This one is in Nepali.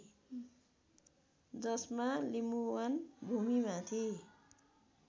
जसमा लिम्बुवान भूमिमाथि